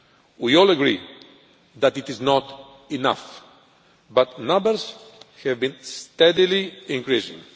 We all agree that it is not enough, but numbers have been steadily increasing.